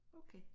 Okay